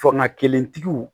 Fanga kelentigiw